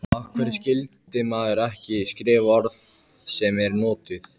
Af hverju skyldi maður ekki skrifa orð sem eru notuð?